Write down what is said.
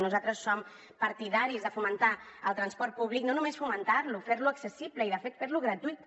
nosaltres som partidaris de fomentar el transport públic no només fomentar lo fer lo accessible i de fet fer lo gratuït